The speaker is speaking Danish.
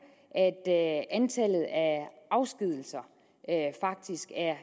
at antallet af afskedigelser faktisk er